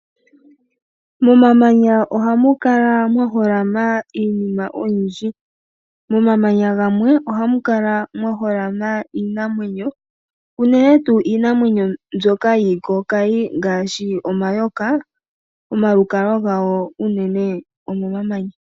Momamanya ohamu kala mwa holama iinima oyindji. Momamanya gamwe ohamu kala mwa holama iinamwenyo, unene tuu iinamwenyo mbyoka yiikokayi ngaashi omayoka . Omalukalwa gawo unene omo mamanya.